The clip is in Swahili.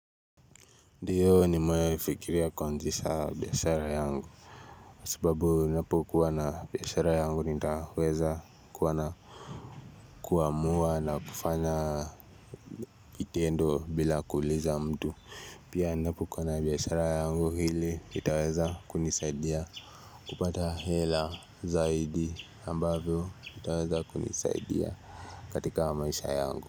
Ndiyo nimewahi fikiria kuanzisha biashara yangu kwa sababu ninapokuwa na biashara yangu nitaweza kuwa na kuamua na kufanya vitendo bila kuuliza mtu Pia ninapokuwa na biashara yangu hili itaweza kunisaidia kupata hela zaidi ambavyo itaweza kunisaidia katika wa maisha yangu.